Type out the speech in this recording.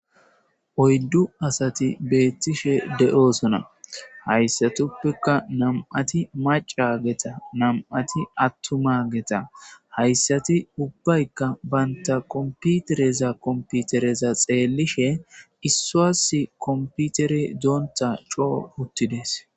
oyddu asati beettishe de7osona hayssatuppeka nam7ati maca geta nam7ati attuma geta hayssati ubbaykka baynta komputereza komputereza xeelishe issuas komputere doonta coo uttides